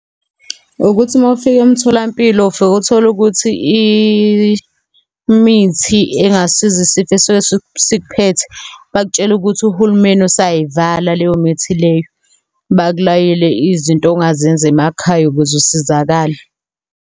Ukuthi uma ufika emtholampilo ufike utholukuthi imithi engasiza isifo esisuke sikuphethe, bakutshela ukuthi uhulumeni usayivala leyo mithi leyo. Bakulayele izinto ongazenza emakhaya ukuze usizakale.